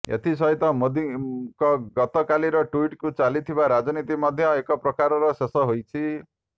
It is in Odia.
ଏଥିସହିତ ମୋଦିଙ୍କ ଗତକାଲିର ଟ୍ବିଟକୁ ଚାଲିଥିବା ରାଜନୀତି ମଧ୍ୟ ଏକ ପ୍ରକାରର ଶେଷ ହୋଇଛି